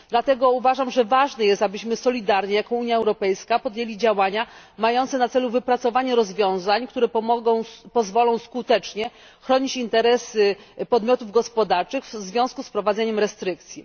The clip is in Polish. Dlatego uważam, że ważne jest, abyśmy solidarnie jako Unia Europejska podjęli działania mające na celu wypracowanie rozwiązań, które pozwolą skutecznie chronić interesy podmiotów gospodarczych w związku z wprowadzeniem restrykcji.